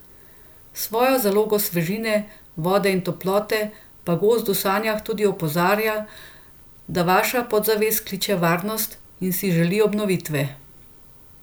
S svojo zalogo svežine, vode in toplote pa gozd v sanjah tudi opozarja, da vaša podzavest kliče varnost in si želi obnovitve.